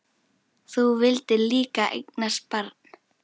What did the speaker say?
Þú vildir líka eignast barn.